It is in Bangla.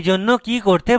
এইজন্য আমরা কি করতে পারি